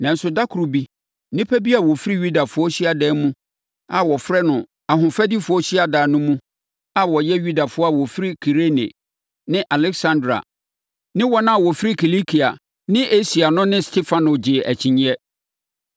Nanso, da koro bi nnipa bi a wɔfiri Yudafoɔ hyiadan bi a wɔfrɛ no “Ahofadifoɔ Hyiadan” no mu a wɔyɛ Yudafoɔ a wɔfiri Kirene ne Aleksandria ne wɔn a wɔfiri Kilikia ne Asia no ne Stefano gyee akyinnyeɛ.